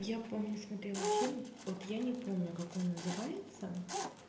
я помню смотрела фильм вот я не помню как он называется